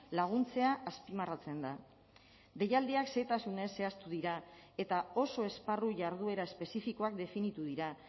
laguntzea azpimarratzen da deialdiak xehetasunez zehaztu dira eta oso esparru jarduera espezifikoak definitu dira